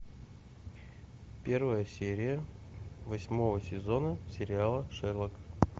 первая серия восьмого сезона сериала шерлок